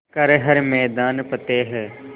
कर हर मैदान फ़तेह